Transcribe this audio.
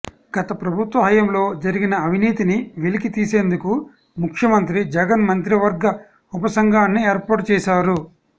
గత ప్రభుత్వ హాయంలో జరిగిన అవినీతిని వెలికి తీసేందుకు ముఖ్యమంత్రి జగన్ మంత్రివర్గ ఉప సంఘాన్ని ఏర్పాటు చేసారు